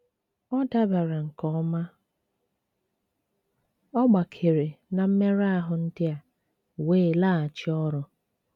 Ọ dabara nke ọma, ọ gbakere na mmerụ ahụ ndị a wee laghachi ọrụ.